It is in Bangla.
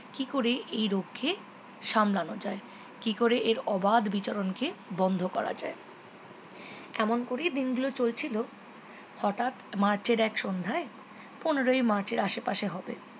কি করে এই রোগকে সামলানো যায় কি করে আর অবাধ বিচরণকে বন্ধ করা যায় এমন করেই দিনগুলো চলছিল হঠাৎ মার্চের এক সন্ধ্যায় পনেরোই মার্চের আশেপাশে হবে